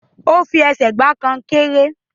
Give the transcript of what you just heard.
O fi ẹsẹ̀ gba konkéré.